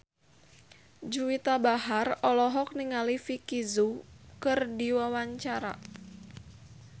Juwita Bahar olohok ningali Vicki Zao keur diwawancara